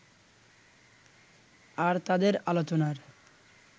আর তাদের আলোচনার